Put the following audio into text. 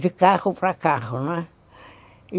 De carro para carro, não é?